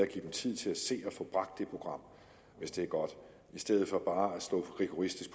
give dem tid til at få bragt det program hvis det er godt i stedet for bare rigoristisk